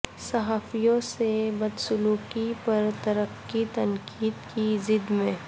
صحافیوں سے بدسلوکی پر ترکی تنقید کی زد میں